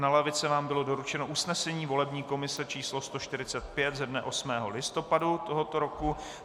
Na lavice vám bylo doručeno usnesení volební komise číslo 145 ze dne 8. listopadu tohoto roku.